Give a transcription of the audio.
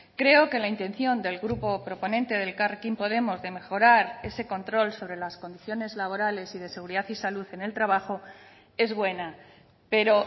creo que la intención del grupo proponente de elkarrekin podemos de mejorar ese control sobre las condiciones laborales y de seguridad y salud en el trabajo es buena pero